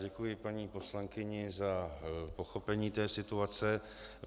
Děkuji paní poslankyni za pochopení té situace.